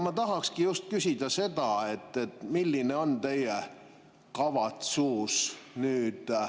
Ma tahakski küsida, milline on teie kavatsus.